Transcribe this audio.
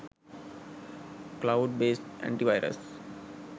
cloud based antivirus